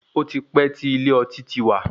Ó ti pẹ́ tí ilé ọtí ti wà.